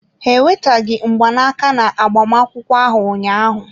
Ha eweteghị mgbanaka na agbamakwụkwọ ahụ ụnyaahụ.